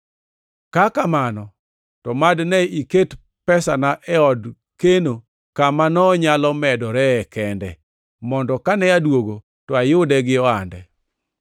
Ka kamano to mad ne iket pesana e od keno kama nonyalo medoree kende, mondo kane aduogo to ayude gi ohande.